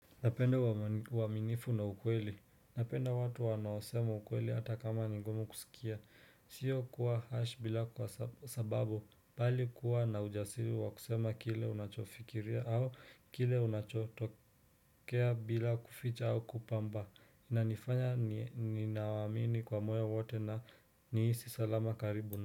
Napenda uaminifu na ukweli. Napenda watu wanaosema ukweli hata kama ni ngumu kusikia. Sio kuwa harsh bila kwa sababu, bali kuwa na ujasiri wa kusema kile unachofikiria au kile unachotokea bila kuficha au kupamba. Inanifanya ninawaamini kwa moyo wote na niisi salama karibu.